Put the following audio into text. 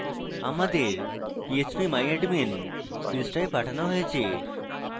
আমাদের phpmyadmin পৃষ্ঠায় পাঠানো হয়েছে